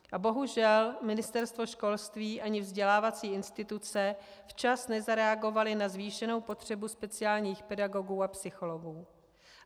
A bohužel Ministerstvo školství ani vzdělávací instituce včas nezareagovaly na zvýšenou potřebu speciálních pedagogů a psychologů.